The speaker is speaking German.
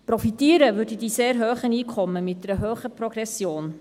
Profitieren würden die sehr hohen Einkommen mit einer hohen Progression.